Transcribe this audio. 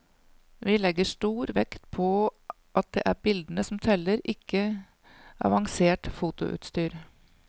Vi legger stor vekt på at det er bildene som teller, ikke avansert fotoutstyr.